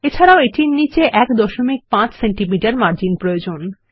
এছাড়াও এটির নীচে 15 সেমি মার্জিন প্রয়োজন